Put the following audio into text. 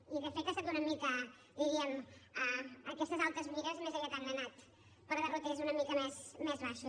i de fet ha estat una mica diríem aquestes altes mires més aviat han anat per derroters una mica més baixos